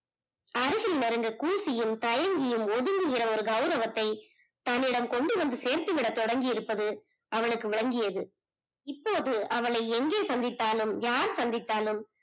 அருகில் நெருங்க கூஷியும் தயங்கியும் ஒதுங்குகிற ஒரு கவுரவத்தை தம்மிடம் கொண்டு வந்து சேர்த்து விட தொடங்கி இருப்பது அவளுக்கு விளங்கியது, இப்போது அவளை எங்கே சந்தித்தாலும் யார் சந்தித்தாலும்